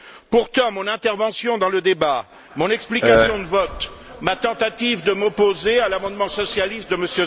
Pourtant, mon intervention dans le débat, mon explication de vote, ma tentative de m'opposer à l'amendement socialiste de M.